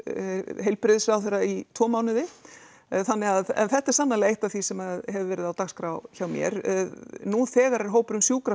heilbrigðisráðherra í tvo mánuði þannig að en þetta er sannarlega eitt af því sem hefur verið á dagskrá hjá mér nú þegar er hópurinn sjúkraflug